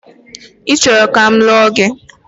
Ị chọrọ ka m lụọ gị?